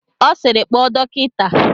Ọ sịịrị, kpọọ dọkịta!